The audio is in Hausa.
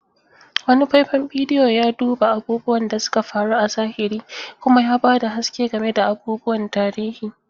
Wani faifan bidiyo ya duba abubuwan da suka faru a zahiri kuma ya ba da haske game da abubuwan tarihi.